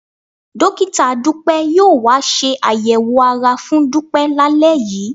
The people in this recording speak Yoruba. Dọ́kítà Dúpẹ́ yóò wá ṣe àyẹ̀wò ara fún Dúpẹ́ lálẹ́ yìí